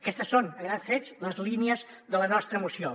aquestes són a grans trets les línies de la nostra moció